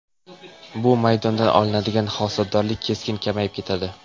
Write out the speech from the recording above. Bu maydondan olinadigan hosildorlik keskin kamayib ketadi.